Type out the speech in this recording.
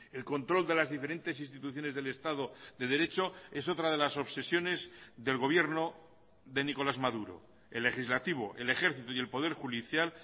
el control de las diferentes instituciones del estado de derecho es otra de las obsesiones del gobierno de nicolás maduro el legislativo el ejército y el poder judicial